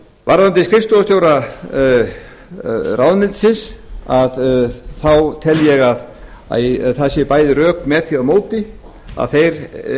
varðandi skrifstofustjóra ráðuneytisins þá tel ég að það séu bæði rök með því og móti að þeir